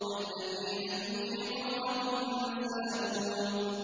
الَّذِينَ هُمْ فِي غَمْرَةٍ سَاهُونَ